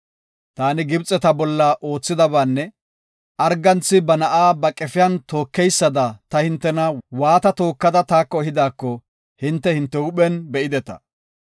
‘Taani Gibxeta bolla oothidabaanne arganthi ba na7a ba qefiyan tookeysda ta hintena waata tookada taako ehidaako hinte hinte huuphen be7ideta.